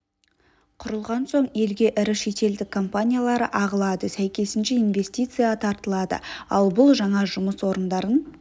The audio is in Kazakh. құрылған соң елге ірі шетелдік компаниялар ағылады сәйкесінше инвестиция тартылады ал бұл жаңа жұмыс орындарын